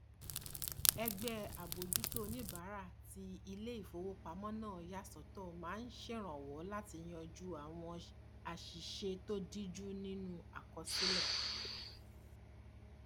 ẹgbẹ àbójútó oníbàárà tí iléìfowópamọ náà yà sọtọ máa ń ṣèrànwọ láti yanjú àwọn àṣìṣe tó díjú nínú àkọsílẹ